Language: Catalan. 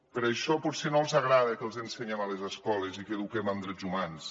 per això potser no els hi agrada que els ensenyem a les escoles i que eduquem en drets humans